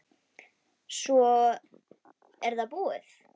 Svo er það búið.